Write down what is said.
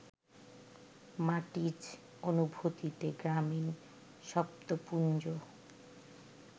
মাটিজ অনুভূতিতে গ্রামীণ শব্দপুঞ্জ